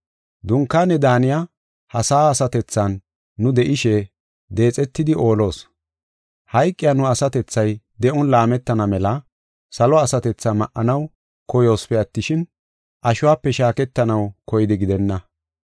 Dunkaane daaniya ha sa7a asatethan nu de7ishe deexetidi oolos. Hayqiya nu asatethay de7on laametana mela salo asatethaa ma7anaw koyoosipe attishin, ashuwape shaaketanaw koyidi gidenna.